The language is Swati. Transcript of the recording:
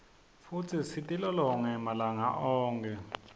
futsi sitilolonge malanga onkhe